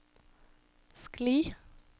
skli